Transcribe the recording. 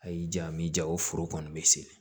A y'i ja m'i ja o foro kɔni bɛ se